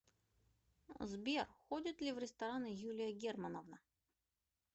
сбер ходит ли в рестораны юлия германовна